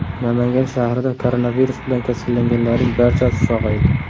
Namangan shahrida koronavirus bilan kasallanganlarning barchasi sog‘aydi.